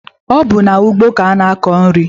Ọ bụ n'ugbo ka a na-akọ nri.